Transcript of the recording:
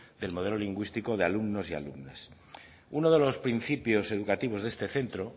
del modelo lingüístico de alumnos y alumnas uno de los principios educativos de este centro